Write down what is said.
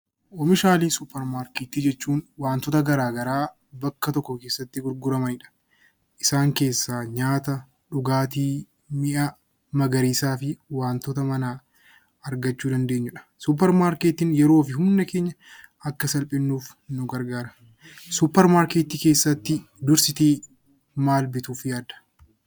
Oomishaalee suuparmaarketii jechuun waantota garaa garaa bakka tokko keessatti gurguramanidha. Isaan keessaa nyaata, dhugaatii, mi'a magariisaa fi wantoota manaa argachuu dandeenyudha. Suuparmaarketiin yeroo fi humna keenya akka salphisnuuf nu gargaara. Suuparmaarketii keessatti dursitee maal bituuf yaadda?